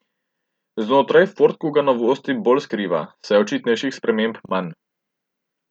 Znotraj ford kuga novosti bolj skriva, saj je očitnejših sprememb manj.